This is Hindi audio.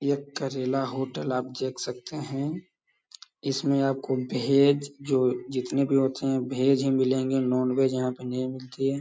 ये करेला होटल आप देख सकते हैं। इसमें आपको भेज जो जितने भी होते हैं भेज ही मिलेंगे नॉनवेज यहाँ पे नहीं मिलती है।